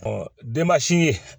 denmasi ye